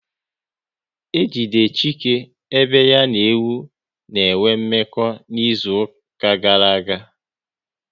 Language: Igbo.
E jidere Chike ebe ya na ewu ha n'enwe mmekọ n'izuka gara aga